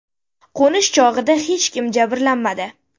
Qo‘nish chog‘ida hech kim jabrlanmadi.